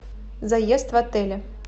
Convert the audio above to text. заезд в отеле